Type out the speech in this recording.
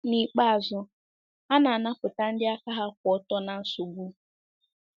N’ikpeazụ, a na-anapụta ndị aka ha kwụ ọtọ ná nsogbu.